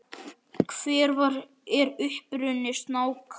Hver er uppruni snáka?